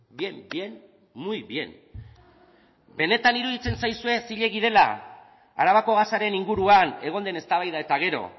bien bien muy bien benetan iruditzen zaizue zilegi dela arabako gasaren inguruan egon den eztabaida eta gero